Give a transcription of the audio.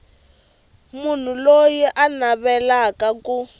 munhu loyi a navelaka ku